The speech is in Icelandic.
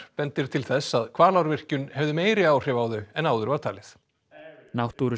bendir til þess að Hvalárvirkjun hefði meiri áhrif á þau en áður var talið